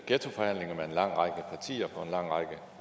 herre